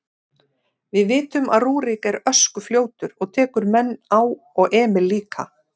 Við vitum að Rúrik er öskufljótur og tekur menn á og Emil líka.